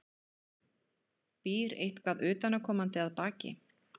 Býr eitthvað utanaðkomandi að baki?